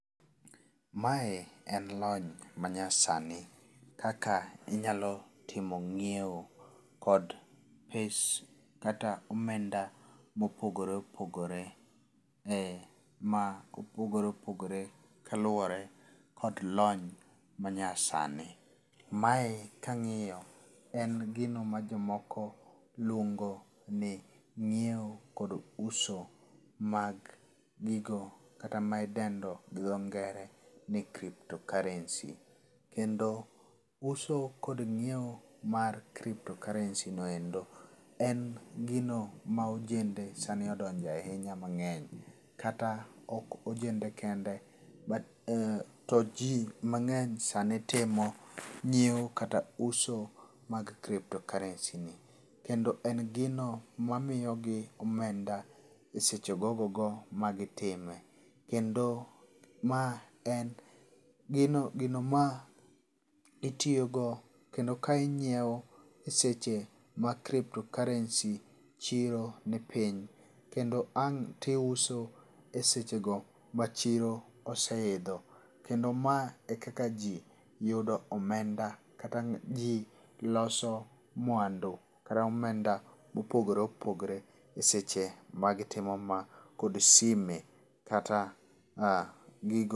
Mae en lony manyasani kaka inyalo timo ng'iewo kod pes kata omenda mopogore opogore ,eh ma opogore opogore kaluwore kod lony ma nyasani. Mae kang'iyo en gino ma jomoko luongo ni ng'iewo kod uso mag gigo kata idendo gi dho ngere ni crypto currency[cs.] Kendo uso kod ng'iewo mar crypto currency[cs.] no endo, en gino ma ojende sani odonje ahinya mang'eny kata ok ojende kende but to ji mang'eny sani timo ng'iewo kata uso mag crypto currency[cs.] ni. Kendo en gino mamiyogi omenda e seche ogogogo ma gitime. Kendo ma en gino gino ma itiyogo kendo ka ing'iewo ma crypto currency chiro ni piny kendo ang' to iuso esechego ma chiro oseidho kendo ma ekaka jii yudo omenda kata jii loso mwandu kata omenda mopogore opogore eseche ma gitimo ma kod sime kata gigo.